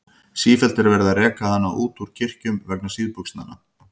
Sífellt er verið að reka hana út úr kirkjum vegna síðbuxnanna.